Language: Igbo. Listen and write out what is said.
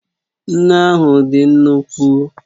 Nnu ahụ dị nnukwu